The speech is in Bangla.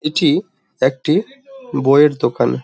এটি একটি বইয়ের দোকান।